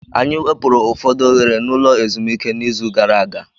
Anyị wepụrụ ụfọdụ oghere n'ụlọ ezumike n'izu gara aga.